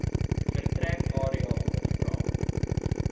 vertrek area ondervra